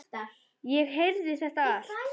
Ég heyrði þetta allt.